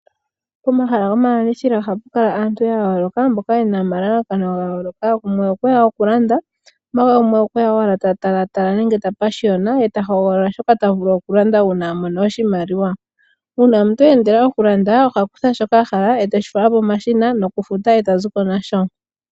Pomahala gomalandithilo ohapu kala aantu yayooloka mboka yena omalalakano gayooloka gumwe okweya okulanda omanga gumwe okweya owala tatalatala nenge tapashiyona ye ta hogolola shoka tavulu okulanda uuna a mono oshimaliwa. Uuna omuntu eendela okulanda ohakutha shoka ahala eteshi fala pomashina nokufuta e ta zi ko nasho.